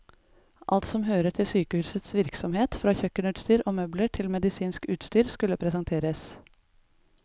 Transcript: Alt som hører til sykehusets virksomhet, fra kjøkkenutstyr og møbler til medisinsk utstyr, skulle presenteres.